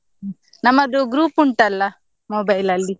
ಹ್ಮ್, ನಮ್ಮದು group ಉಂಟಲ್ಲ mobile ಅಲ್ಲಿ.